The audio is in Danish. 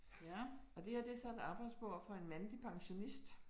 Ja, og det her det så et arbejdsbord for en mandlig pansionist